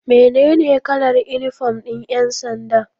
Mene ne kalar inifom ɗin ƴansanda?